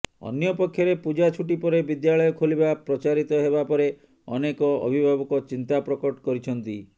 ଅନ୍ୟପକ୍ଷରେ ପୂଜା ଛୁଟି ପରେ ବିଦ୍ୟାଳୟ ଖୋଲିବା ପ୍ରଚାରିତ ହେବା ପରେ ଅନେକ ଅଭିଭାବକ ଚିନ୍ତା ପ୍ରକଟ କରିଛନ୍ତି